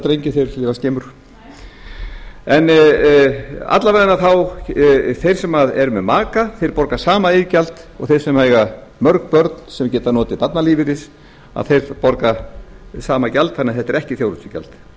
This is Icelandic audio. drengi þeir lifa skemur en alla vegana þeir sem eru með maka þeir borga sama iðgjald og þeir sem eiga mörg börn sem geta notið barnalífeyris að þeir borga sama gjald þannig að þetta